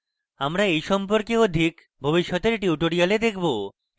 আমরা we সম্পর্কে অধিক ভবিষ্যতের tutorials দেখবো